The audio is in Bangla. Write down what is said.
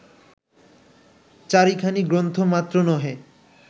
চারিখানি গ্রন্থ মাত্র নহে